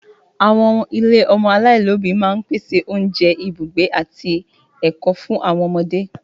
Àwọn ilé ọmọ aláìlóbìí máa ń pèsè oúnjẹ, ibùgbé, àti ẹ̀kọ́ fún àwọn ọmọdé.